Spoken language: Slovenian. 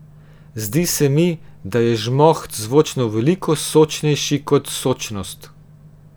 Zdi se mi, da je žmoht zvočno veliko sočnejši kot sočnost.